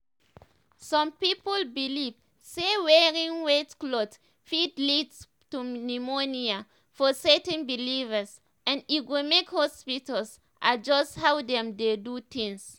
some people believe say wearing wet clothes fit lead to pneumonia for certain believers and e go make hospitals adjust how dem dey do tins."